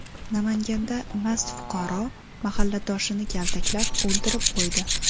Namanganda mast fuqaro mahalladoshini kaltaklab, o‘ldirib qo‘ydi.